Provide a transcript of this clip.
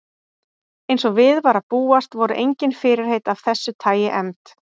Eins og við var að búast voru engin fyrirheit af þessu tagi efnd.